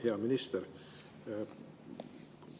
Hea minister!